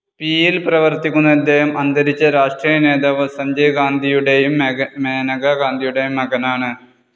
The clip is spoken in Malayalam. പിയിൽ പ്രവർത്തിക്കുന്ന ഇദ്ദേഹം, അന്തരിച്ച രാഷ്ട്രീയനേതാവ് സഞ്ജയ് ഗാന്ധിയുടേയും മേനകാ ഗാന്ധിയുടേയും മകനാണ്‌.